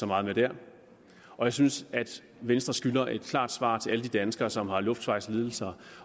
meget med der jeg synes at venstre skylder et klart svar til alle de danskere som har luftvejslidelser